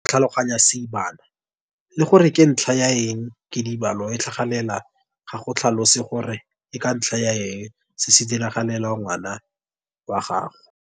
Go tlhaloganya seebana le gore ke ka ntlha ya eng kidibalo e tlhagelela ga go tlhalose gore ke ka ntlha ya eng se se diragalela ngwana wa gago.